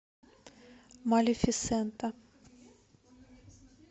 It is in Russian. малефисента